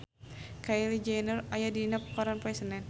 Kylie Jenner aya dina koran poe Senen